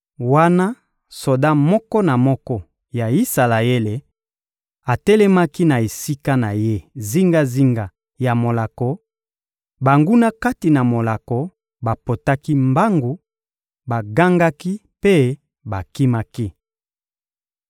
Wana soda moko na moko ya Isalaele atelemaki na esika na ye zingazinga ya molako, banguna kati na molako bapotaki mbangu, bagangaki mpe bakimaki.